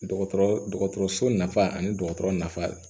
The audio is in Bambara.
Dɔgɔtɔrɔ dɔgɔtɔrɔso nafa ani dɔgɔtɔrɔ nafa